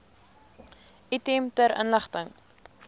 item ter inligting